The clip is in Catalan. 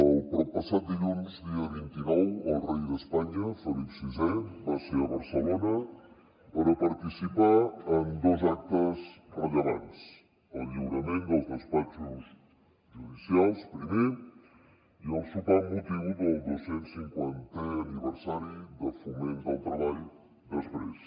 el proppassat dilluns dia vint nou el rei d’espanya felip vi va ser a barcelona per a participar en dos actes rellevants el lliurament dels despatxos judicials primer i el sopar amb motiu del dos cents cinquantè aniversari de foment del treball després